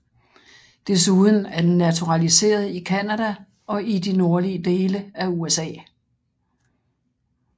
Desuden er den naturaliseret i Canada og de nordlige dele af USA